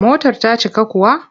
Motar ta cika kuwa?